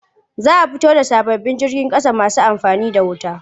Za a fito da sababbin jirgin ƙasa masu amfani da wuta.